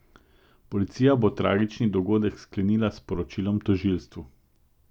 Policija bo tragični dogodek sklenila s poročilom tožilstvu.